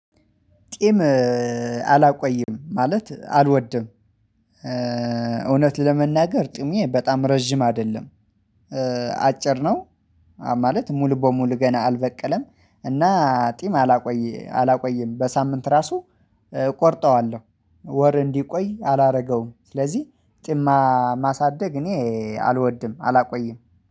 ጢም አላቆይም ማለት አልወድም። እውነት ለመናገር ጢሜ በጣም ረጅም አይደለም አጭር ነው። ማለት ሙሉ በሙሉ ገና አልበቀለም እና ጢም አላቆየ አላቆይም በሳምንት ራሱ ቆርጠዋለሁ ወር እንዲቆይ አላደረገውም። ስለዚህ ጢም ማሳደግ እኔ አልወድም አላቆይም።